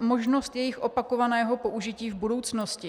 možnost jejich opakovaného použití v budoucnosti.